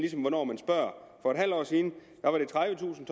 hvornår man spørger for et halvt år siden var det tredivetusind